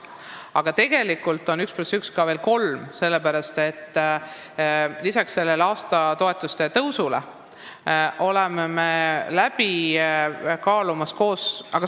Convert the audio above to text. Aga tegelikult võib 1 + 1 olla ka 3, sest lisaks aastatoetuste tõstmisele oleme kaalumas seda, kuidas samal ajal planeerida asju kaks või kolm aastat ette, kui me tahame pikaajalisi lepinguid.